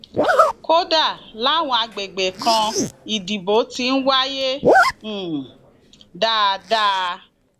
kódà làwọn àgbègbè kan ìdìbò ti ń wáyé um dáadáa